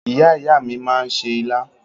Ìyá ìyá mi máa se ilá